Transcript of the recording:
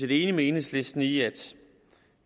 enige med enhedslisten i at